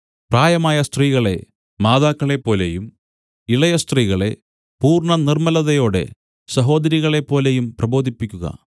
പ്രായമായ സ്ത്രീകളെ മാതാക്കളെപ്പോലെയും ഇളയ സ്ത്രീകളെ പൂർണ്ണനിർമ്മലതയോടെ സഹോദരികളെപ്പോലെയും പ്രബോധിപ്പിക്കുക